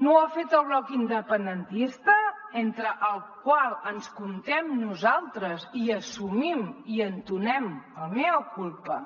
no ho ha fet el bloc independentista entre el qual ens comptem nosaltres i assumim i entonem el mea culpa